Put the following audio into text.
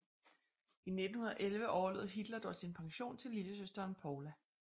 I 1911 overlod Hitler dog sin pension til lillesøsteren Paula